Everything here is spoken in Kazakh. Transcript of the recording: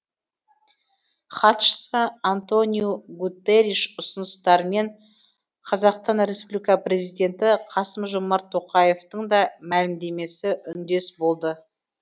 хатшысы антониу гуттериш ұсыныстарымен қазақстан республика президенті қасым жомарт тоқаевтың да мәлімдемесі үндес болды